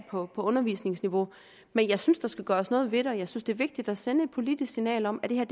på undervisningsniveau men jeg synes der skal gøres noget ved det og jeg synes det er vigtigt at sende et politisk signal om at det her